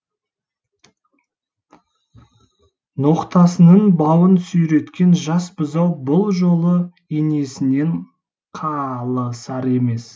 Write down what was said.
ноқтасының бауын сүйреткен жас бұзау бұл жолы енесінен қалысар емес